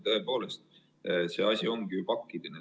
Tõepoolest, see asi ongi pakiline.